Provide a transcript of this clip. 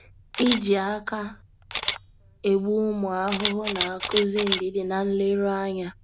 Iji aka egbu ụmụ ahụhụ na-akụzi ndidi na nleru ányá.